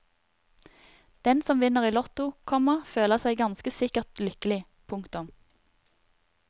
Den som vinner i lotto, komma føler seg ganske sikkert lykkelig. punktum